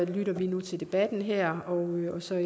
vi nu til debatten her og så